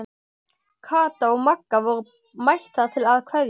Kata og Magga voru mættar til að kveðja.